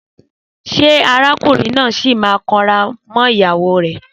Sẹ àrákúnrìn nà sí mà ń kàn rà mọ ìyáwò rẹ?